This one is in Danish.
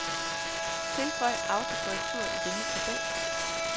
Tilføj autokorrektur i denne tabel.